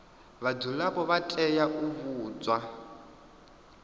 vhadzulapo vha tea u vhudzwa